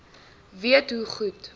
weet hoe goed